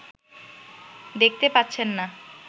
দেখতে পাচ্ছেন না